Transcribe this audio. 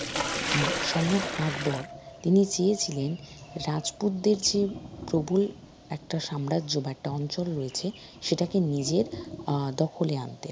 হম সম্রাট আকবর তিনি চেয়েছিলেন রাজপুতদের যে প্রবল একটা সাম্রাজ্য বা একটা অঞ্চল রয়েছে সেটাকে নিজের আহ দখলে আনতে